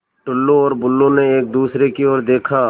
टुल्लु और बुल्लु ने एक दूसरे की ओर देखा